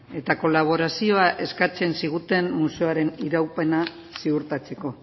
eta kolaborazioa eskatzen ziguten museoaren iraupena ziurtatzeko